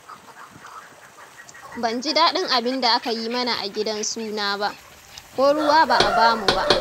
Ban ji daɗin abinda aka yi mana a gidan suna ba. Ko ruwa ba a ba mu ba.